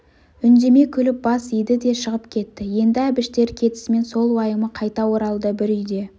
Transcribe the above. үндемей күліп бас иді де шығып кетті енді әбіштер кетісімен сол уайымы қайта оралды бір үйде